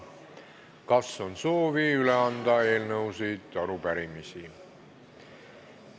Kas on soovi üle anda eelnõusid ja arupärimisi?